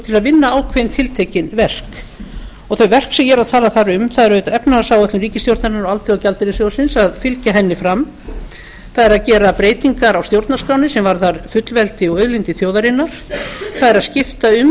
til að vinna ákveðin tiltekin verk þau verk sem ég er að tala þar um er auðvitað efnahagsáætlun ríkisstjórnarinnar og alþjóðagjaldeyrissjóðsins að fylgja henni fram það er að gera breytingar á stjórnarskránni sem varðar fullveldi og auðlindir þjóðarinnar það er að skipta um